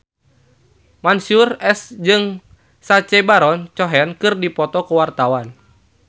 Mansyur S jeung Sacha Baron Cohen keur dipoto ku wartawan